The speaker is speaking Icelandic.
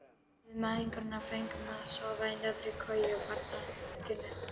Við mæðgurnar fengum að sofa í neðri koju í barnaherberginu.